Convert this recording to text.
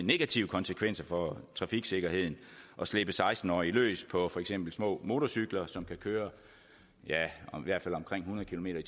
negative konsekvenser for trafiksikkerheden at slippe seksten årige løs på for eksempel små motorcykler som kan køre ja i hvert fald omkring hundrede kilometer